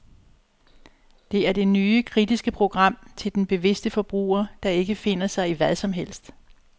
Det er det nye, kritiske program til den bevidste forbruger, der ikke finder sig i hvad som helst.